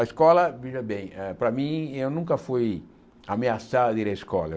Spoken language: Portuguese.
A escola, veja bem, eh para mim, eu nunca fui ameaçado a ir à escola.